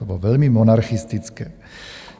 To bylo velmi monarchistické.